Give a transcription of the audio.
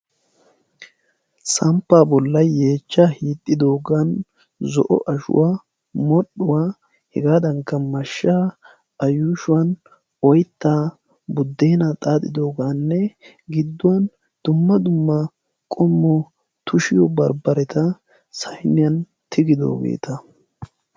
Samppaa bolla yeechaa hiixidoogan zo'o ashuwaa, modhdhuwa hegaadankka mashshaa, A yuushuwan oyttaa buddeena xaaxidogaanne gidduwan dumma dumma qommo tushiyo barbareta sayniyan tigidoogeta.